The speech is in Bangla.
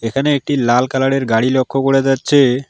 এখানে একটি লাল কালার -এর গাড়ি লক্ষ করা যাচ্ছে।